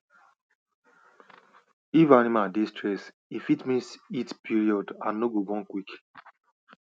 if animal dey stressed e fit miss heat period and no go born quick